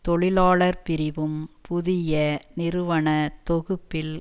தொழிலாளர் பிரிவும் புதிய நிறுவன தொகுப்பில்